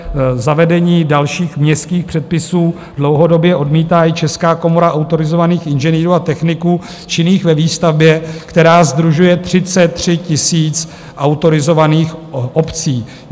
Zavedení dalších městských předpisů dlouhodobě odmítá i Česká komora autorizovaných inženýrů a techniků činných ve výstavbě, která sdružuje 33 000 autorizovaných obcí.